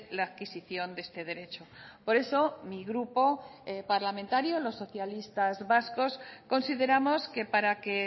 la adquisición de este derecho por eso mi grupo parlamentario los socialistas vascos consideramos que para que